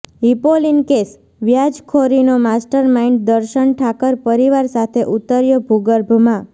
Hipolin case વ્યાજખોરીનો master mind Darshan Thakar પરિવાર સાથે ઉતર્યો ભૂગર્ભમાં